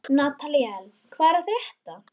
Nataníel, hvað er að frétta?